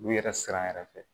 U yɛrɛ siran yɛrɛ fɛ